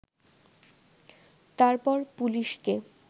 তারপর পুলিশকে